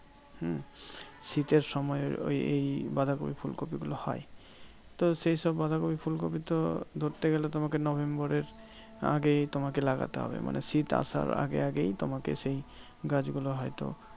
হম শীতের সময় ওই বাঁধাকপি ফুলকপি গুলো হয়। তো সেই সব বাঁধাকপি ফুলকপি তো ধরতে গেলে তোমাকে নভেম্বরের আগেই তোমাকে লাগাতে হবে। মানে শীত আসার আগে আগেই তোমাকে সেই গাছগুলো হয়তো